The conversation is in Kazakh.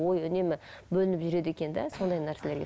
ойы үнемі бөлініп жүреді екен де сондай нәрселерге